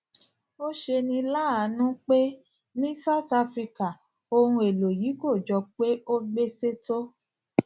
ó ṣeni láàánú pé ní south africa ohun èlò yìí kò jọ pé ó gbéṣé tó